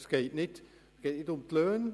Es geht nicht um die Löhne.